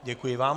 Děkuji vám.